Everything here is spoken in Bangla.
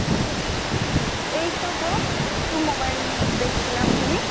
এই তো গো একটু mobile দেখছিলাম, তুমি?